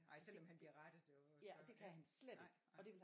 Nej selvom han bliver rettet jo og så nej nej